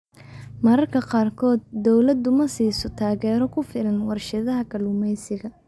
Mararka qaarkood, dawladdu ma siiso taageero ku filan warshadaha kalluumaysiga.